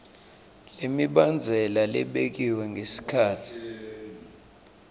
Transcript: lemibandzela lebekiwe ngesikhatsi